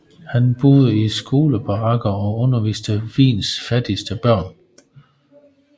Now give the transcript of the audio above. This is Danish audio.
Han boede i skolebarakker og underviste Wiens fattigste børn